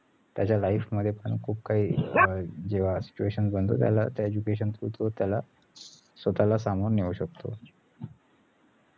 त्याच्या life मध्ये पण खूप काही अं जेव्हा situation बनतो त्याला त्या education through तो त्याला स्वतःला सामावुन नेऊ शकतो